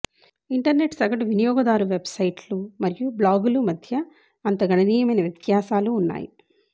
internet సగటు వినియోగదారు వెబ్సైట్లు మరియు బ్లాగులు మధ్య అంత గణనీయమైన వ్యత్యాసాలు ఉన్నాయి